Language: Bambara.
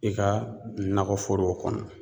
I ka nakɔ forow kɔnɔ.